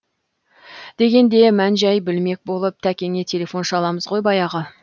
дегенде мән жай білмек болып тәкеңе телефон шаламыз ғой баяғы